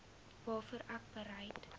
waarvoor ek bereid